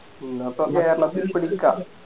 എന്നപ്പോ കേരളത്തിൽ പിടിക്കാം